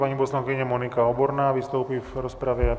Paní poslankyně Monika Oborná vystoupí v rozpravě.